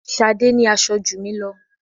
Ṣadé ní aṣọ jù mí lọ.